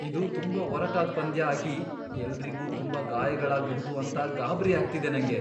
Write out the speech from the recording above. ಇದು ತುಂಬಾ ಒರಟಾದ್ ಪಂದ್ಯ ಆಗಿ ಎಲ್ರಿಗೂ ತುಂಬಾ ಗಾಯಗಳಾಗ್ಬಹುದು ಅಂತ ಗಾಬ್ರಿ ಆಗ್ತಿದೆ ನಂಗೆ.